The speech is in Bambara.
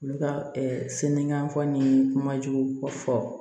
Olu ka sinikɛnɛ faga ni kumajugu fɔ